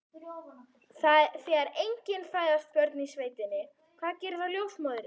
Þegar engin fæðast börnin í sveitinni, hvað gerir þá ljósmóðirin?